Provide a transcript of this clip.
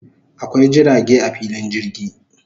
Akwai jirage a filin jirgi